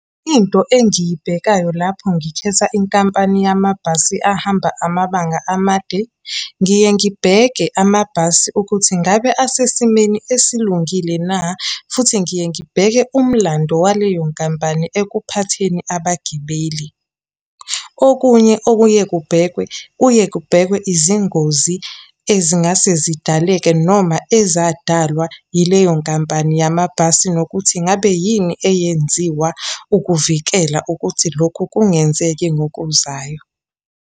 Into engiyibhekayo lapho ngikhetha inkampani yamabhasi ahamba amabanga amade, ngiye ngibheke amabhasi ukuthi ngabe asesimeni esilungile na futhi ngiye ngibheke umlando waleyo nkampani ekuphatheni abagibeli. Okunye okuye kubhekwe, kuye kubhekwe izingozi ezingase zidaleke, noma ezadalwa yileyo nkampani yamabhasi, nokuthi ngabe yini eyenziwa ukuvikela ukuthi lokhu kungenzeki ngokuzayo.